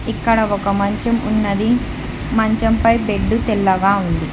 ఇక్కడ ఒక మంచం ఉన్నది మంచం పై బెడ్డు తెల్లగా ఉంది.